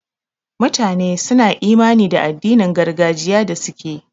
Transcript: Mutane suna imani da addinin gargajiya da suke.